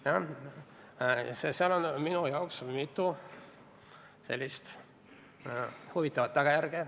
Nii et seal on minu jaoks mitu sellist huvitavat tagajärge.